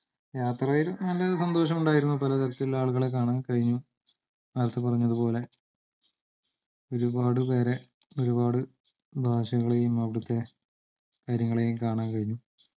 യാത്രയിൽ നല്ലൊരു സന്തോഷം ഉണ്ടായിരുന്നു പലതരത്തിലുള്ള ആളുകളെ കാണാൻ കഴിഞ്ഞു നേര്ത്ത പറഞ്ഞപോല ഒരുപാടുപേരെ ഒരുപാട് ഭാഷകളെയും അവിടത്തെ കാര്യങ്ങളെയും കാണാൻ കഴിഞ്ഞു